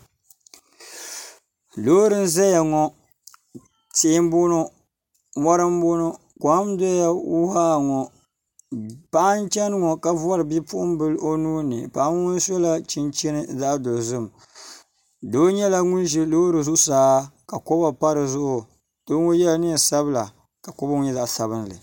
loori n ʒɛya ŋɔ tihi n bɔŋɔ mɔri n bɔŋɔ kom n doya huuhaa ŋɔ paɣa n chɛni ŋɔ ka bɔri Bipuɣunbili o nuuni paŋa ŋɔ sɔla chinchin zaɣ dɔzim doo nyɛla ŋun ʒi loori zuɣusaa ka kɔba pa dizuɣu doo ŋɔ yɛla neen sabila ka kɔba ŋɔ nyɛ zaɣ sabinli